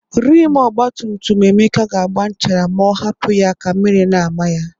Rimu ọgbatutum Emeka ga-agba nchara ma ọ hapụ ya ka mmiri na-ama ya.